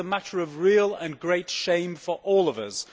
This is a matter of real and great shame for all of us.